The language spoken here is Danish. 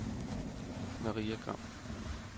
Maria Gram